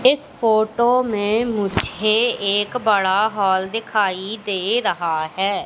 इस फोटो में मुझे एक बड़ा हॉल दिखाई दे रहा है।